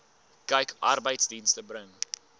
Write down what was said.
kyk arbeidsdienste bring